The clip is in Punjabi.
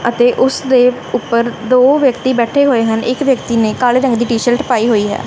ਅਤੇ ਉਸਦੇ ਉੱਪਰ ਦੋ ਵਿਅਕਤੀ ਬੈਠੇ ਹੋਏ ਹਨ ਇੱਕ ਵਿਅਕਤੀ ਨੇਂ ਕਾਲੇ ਰੰਗ ਦੀ ਟੀ-ਸ਼ਰਟ ਪਾਈ ਹੋਈ ਐ।